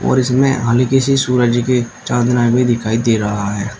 और इसमें हल्की सी सूरज की चांदना भी दिखाई दे रहा है।